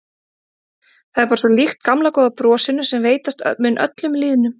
Það er bara svo líkt gamla góða brosinu sem veitast mun öllum lýðnum.